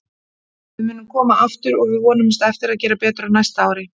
Við munum koma aftur og við vonumst eftir að gera betur á næsta ári.